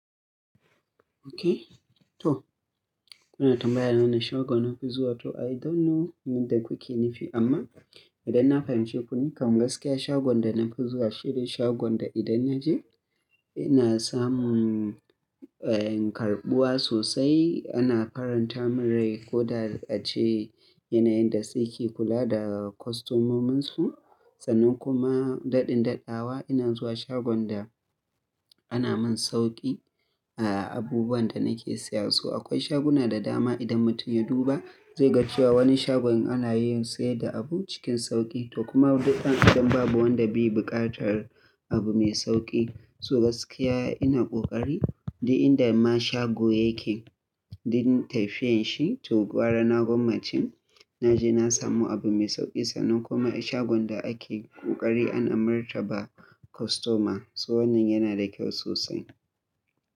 Okay, to. Kuna tambayana wane shagone nafi zuwa to I don't know me kuke nufi amma idanna fahimci ku nikam gaskiya shagonda nafi zuwa shine shagon da idan naje ina samun, eh, karɓuwa sosai ana faranta min rai koda ace yanayin da suke kula da kostomominsu. Sannan kuma daɗin daɗawa ina zuwa shagon da ana min sauƙi a abubuwanda nake siya so. Akwai shaguna da dama idan mutum ya duba, zaiga cewa wani shagon ana yin sayar da abu cikin sauƙi to kuma duk dan Adam babu wanda be buƙatar abu mai sauƙi. So gaskiya ina ƙoƙari duk inda ma shago yake, duk tafiyanshi to gwara na gwammace naje na samu abu mai sauƙi sannan kuma shagon da ake ƙoƙari ana martaba kostoma. So wannan yana da kyau sosai.